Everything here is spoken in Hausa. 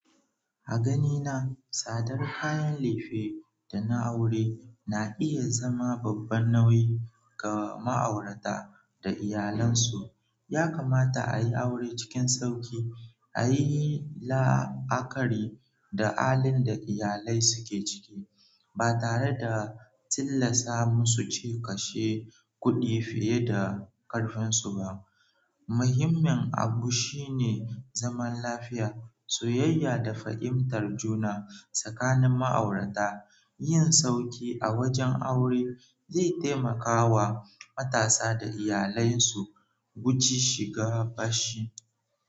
A ganina, tsadar kayan lefe da na aure na iya zama babban nauyi ga ma'aurata da iyalansu. Yakamata a yi aure cikin sauƙi, a yi la'akari da alin da iyalai suke cike, ba tare da tillasa musu cike kashe kuɗi fiye da ƙarfinsu ba. Muhimmin abu shine zaman lafiya, soyayya da fahimtar juna tsakanin ma'aurata. Yin sauƙi a wajen aure zai taimaka wa matasa da iyalai su guji shiga fashi.